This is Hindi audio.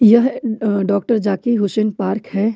यह अ डॉक्टर जाकिर हुसैन पार्क है।